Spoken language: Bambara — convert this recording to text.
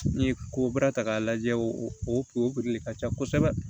N'i ye ko baara ta k'a lajɛ o o ka ca kosɛbɛ